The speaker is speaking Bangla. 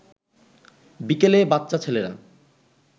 বিকেলে বাচ্চা ছেলেরা